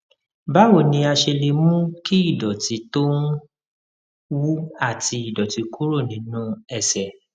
báwo ni a ṣe lè mú kí ìdòtí tó ń wú àti ìdòtí kúrò nínú ẹsè